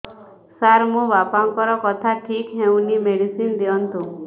ସାର ମୋର ବାପାଙ୍କର କଥା ଠିକ ହଉନି ମେଡିସିନ ଦିଅନ୍ତୁ